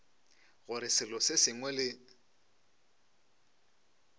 gore selo se sengwe le